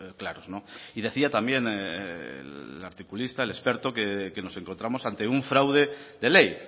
claros y decía también el articulista el experto que nos encontramos ante un fraude de ley